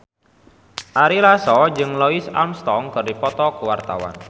Ari Lasso jeung Louis Armstrong keur dipoto ku wartawan